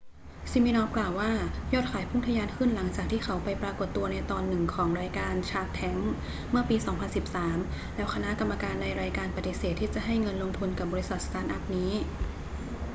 ซิมินอฟฟ์กล่าวว่า ยอดขายพุ่งทะยานขึ้นหลังจากที่เขาไปปรากฏตัวในตอนหนึ่งของรายการชาร์คแทงค์เมื่อปี 2013 แล้วคณะกรรมการในรายการปฏิเสธที่จะให้เงินลงทุนกับบริษัทสตาร์ทอัพนี้